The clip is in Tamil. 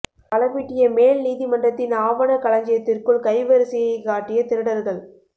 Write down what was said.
பலபிட்டிய மேல் நீதிமன்றத்தின் ஆவணக் களஞ்சியத்திற்குள் கை வரிசையை காட்டிய திருடர்கள்